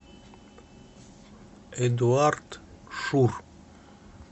эдуард шур